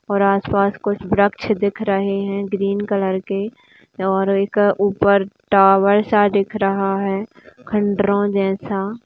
और आसपास कुछ वृक्ष दिख रहे हैं ग्रीन कलर के और एक ऊपर टॉवर सा दिख रहा है खंडरों जैसा --